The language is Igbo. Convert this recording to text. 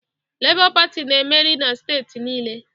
Labour Party na-emeri na steeti niile